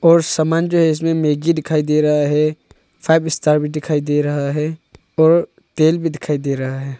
और समान जो है इसमें मैगी दिखाई दे रहा है फाइव स्टार भी दिखाई दे रहा है और तेल भी दिखाई दे रहा है।